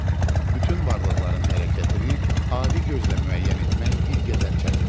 Bütün varlıqların hərəkətini adi gözlə müəyyən etmək bir qədər çətindir.